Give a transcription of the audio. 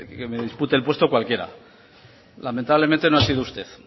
que me dispute el puesto cualquiera lamentablemente no ha sido usted